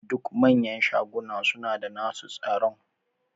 Duk manyan shaguna suna da nasu tsaron.